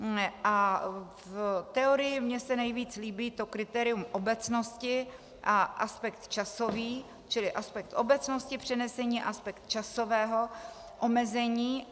A v teorii se mi nejvíc líbí to kritérium obecnosti a aspekt časový, čili aspekt obecnosti, přenesení, aspekt časového omezení;